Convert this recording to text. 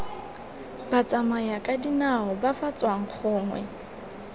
batsamayakadinao ba ba tswang gongwe